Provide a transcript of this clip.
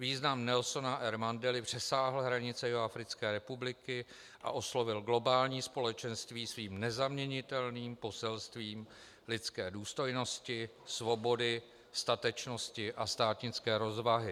Význam Nelsona R. Mandely přesáhl hranice Jihoafrické republiky a oslovil globální společenství svým nezaměnitelným poselstvím lidské důstojnosti, svobody, statečnosti a státnické rozvahy.